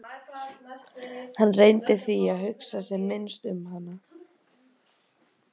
Hann reyndi því að hugsa sem minnst um hana.